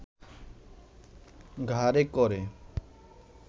ঘাড়ে ক’রে